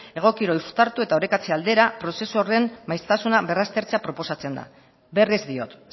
egokiro uztartu eta orekatze aldera prozesu horren maiztasuna berraztertzea proposatzen da berriz diot